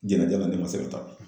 Jɛnatigɛ la ne ma se ka taa